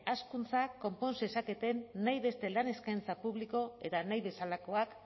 hazkuntza konpon zezaketen nahi beste lan eskaintza eta nahi bezalakoak